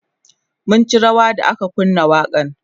mun ci rawa da aka kunna waƙan